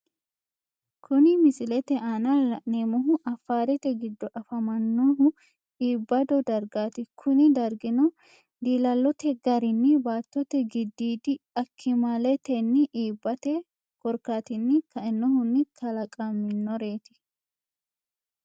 Kunni misilete aanna la'neemohu afaarete gido afamanohu iibado dargaati kunni dargino diillallote garinni baattote gidiidi akimaletenni iibate korkaatinni kainohunni kalaqamanoreeti